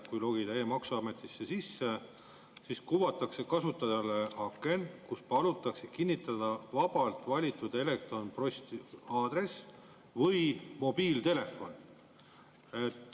Kui logida e-maksuametisse sisse, siis kuvatakse kasutajale aken, kus palutakse kinnitada vabalt valitud elektronposti aadress või mobiiltelefon.